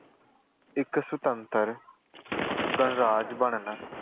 ਇੱਕ ਸੁਤੰਤਰ ਗਣਰਾਜ ਬਣਨ